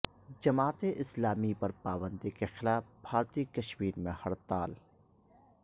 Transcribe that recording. جماعت اسلامی پر پابندی کے خلاف بھارتی کشمیر میں ہڑتال